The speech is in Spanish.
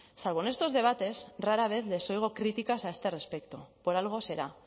salvo en estos debates rara vez les oigo críticas a este respecto por algo será